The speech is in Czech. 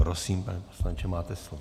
Prosím, pane poslanče, máte slovo.